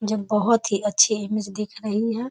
मुझे बहुत ही अच्छी इमेज दिख रही है ।